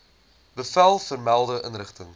bevel vermelde inrigting